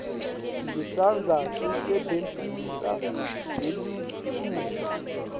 ngitsandza kusebentisa lelitfuba